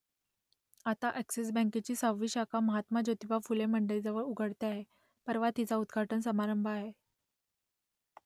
आता अ‍ॅक्सिस बँकेची सहावी शाखा महात्मा ज्योतिबा फुले मंडईजवळ उघडते आहे परवा तिचा उद्घाटन समारंभ आहे